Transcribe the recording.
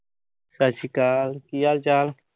ਸਤਿ ਸ੍ਰੀ ਅਕਾਲ। ਕੀ ਹਾਲ-ਚਾਲ